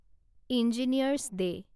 engineers day